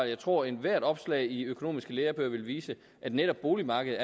jeg tror at ethvert opslag i økonomiske lærebøger vil vise at netop boligmarkedet